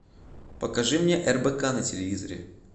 покажи мне рбк на телевизоре